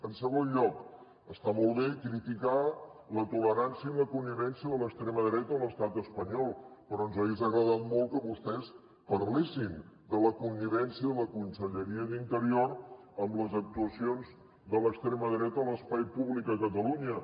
en segon lloc està molt bé criticar la tolerància i la connivència amb l’extrema dreta a l’estat espanyol però ens hagués agradat molt que vostès parlessin de la connivència de la conselleria d’interior amb les actuacions de l’extrema dreta a l’espai públic a catalunya